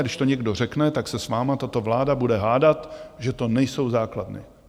A když to někdo řekne, tak se s vámi tato vláda bude hádat, že to nejsou základny.